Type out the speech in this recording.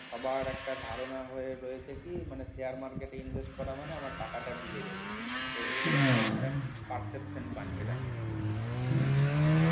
সবার একটা ধারণা হয়ে রয়েছে কি মানে share market করা মানে আমার টাকাটা ডুবে যাবে তো এ perfection বানিয়ে রাখে